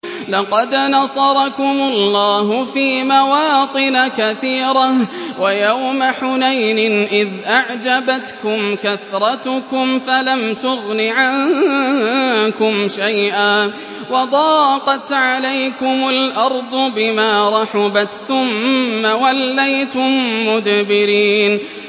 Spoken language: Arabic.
لَقَدْ نَصَرَكُمُ اللَّهُ فِي مَوَاطِنَ كَثِيرَةٍ ۙ وَيَوْمَ حُنَيْنٍ ۙ إِذْ أَعْجَبَتْكُمْ كَثْرَتُكُمْ فَلَمْ تُغْنِ عَنكُمْ شَيْئًا وَضَاقَتْ عَلَيْكُمُ الْأَرْضُ بِمَا رَحُبَتْ ثُمَّ وَلَّيْتُم مُّدْبِرِينَ